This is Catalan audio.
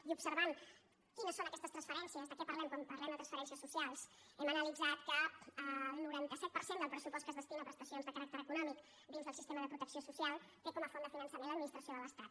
i observant quines són aquestes transferències de què parlem quan parlem de transferències socials hem analitzat que el noranta set per cent del pressupost que es destina a prestacions de caràcter econòmic dins del sistema de protecció social té com a font de finançament l’administració de l’estat